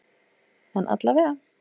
En alla vega.